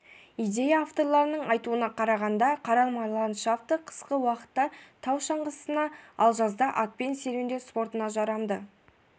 идея авторларының айтуына қарағанда қаралма ландшафты қысқы уақытта тау шаңғысына ал жазда атпен серуендеу спортына жарамды